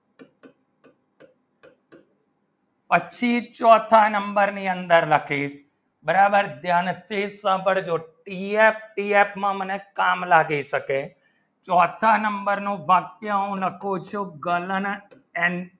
ચોથા number ની અંદર લખે બરાબર ત્યાં સાંભળજો PF PF માં મને કામ લાગે શકે ચોથા number ની અંદર બરાબર કામ લાગે શકે